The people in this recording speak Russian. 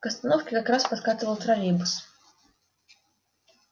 к остановке как раз подкатывал троллейбус